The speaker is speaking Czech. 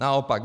Naopak.